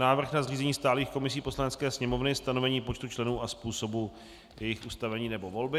Návrh na zřízení stálých komisí Poslanecké sněmovny, stanovení počtu členů a způsobu jejich ustavení nebo volby